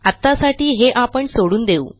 आत्तासाठी हे आपण सोडून देऊ